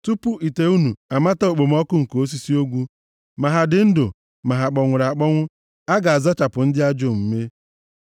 Tupu ite unu amata okpomọkụ nke osisi ogwu, ma ha dị ndụ, ma ha kpọnwụrụ akpọnwụ, a ga-azachapụ ndị ajọ omume.